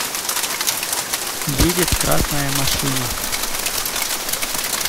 едет красная машина